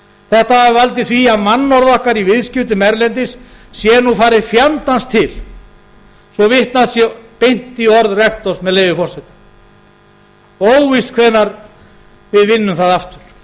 þetta hafi valdið því að mannorð okkar í viðskiptum erlendis sé nú farið fjandans til svo vitnað sé beint í orð rektors með leyfi forseta og óvíst hvenær við vinnum það